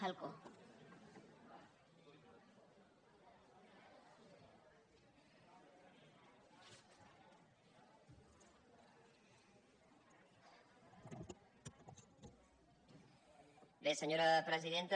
bé senyora presidenta